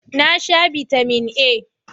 Na sha Bitamin A.